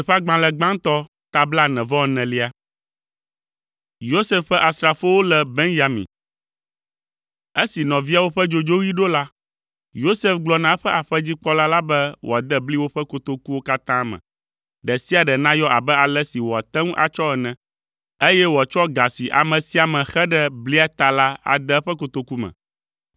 Esi nɔviawo ƒe dzodzoɣi ɖo la, Yosef gblɔ na eƒe aƒedzikpɔla la be wòade bli woƒe kotokuwo katã me, ɖe sia ɖe nayɔ abe ale si wòate ŋu atsɔ ene, eye wòatsɔ ga si ame sia ame xe ɖe blia ta la ade eƒe kotoku me!